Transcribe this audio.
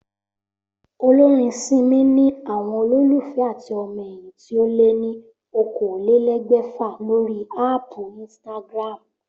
Olórin Simi ni àwo̩n olólùfé àti o̩mo̩ è̩yìn tí ó lé ní okòólélé̩gbè̩fà lórí áàpù Instagram